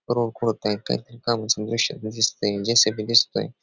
Road खोदतायत काहीतरी कामाच द्रुष्य दिसतय जे.सी.बी. दिसतोय.